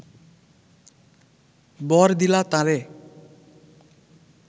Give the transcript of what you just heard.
বর দিলা তাঁরে